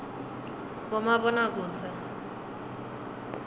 bomabonakudze